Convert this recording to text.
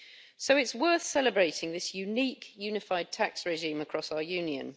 So it's worth celebrating this unique, unified tax regime across our Union.